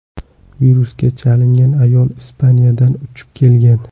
Virusga chalingan ayol Ispaniyadan uchib kelgan.